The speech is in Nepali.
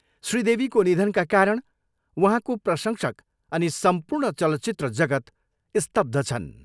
श्री देवीको निधनका कारण उहाँको प्रशंसक अनि सम्पूर्ण चलचित्र जगत स्तब्ध छन्।